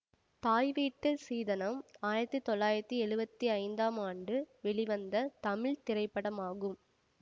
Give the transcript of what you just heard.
தாய் வீட்டு சீதனம் ஆயிரத்தி தொள்ளாயிரத்தி எழுவத்தி ஐந்தாம் ஆண்டு வெளிவந்த தமிழ் திரைப்படமாகும்